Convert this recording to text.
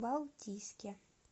балтийске